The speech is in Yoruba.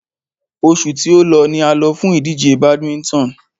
Oṣù tí o lọ ni a lọ fún ìdíje badminton.